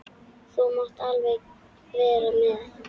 Þú mátt alveg vera með.